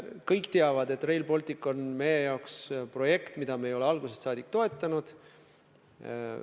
Kõik teavad, et Rail Baltic on meie jaoks projekt, mida me ei ole algusest saadik toetanud.